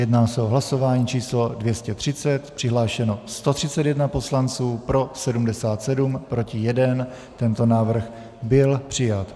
Jedná se o hlasování číslo 230, přihlášeno 131 poslanců, pro 77, proti 1, tento návrh byl přijat.